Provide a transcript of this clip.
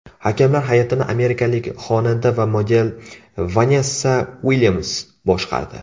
Hakamlar hay’atini amerikalik xonanda va model Vanessa Uilyams boshqardi.